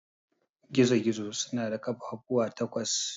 Gizo-gizo suna da ƙafafuwa takwas.